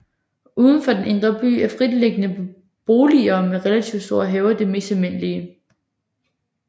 Uden for den indre by er fritliggende boliger med relativt store haver det mest almindelige